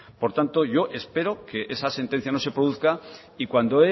por tanto yo espero que esa sentencia no se produzca y cuando